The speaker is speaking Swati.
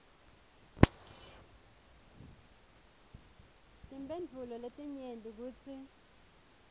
timphendvulo letinyenti kutsi